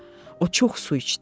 O çox su içdi.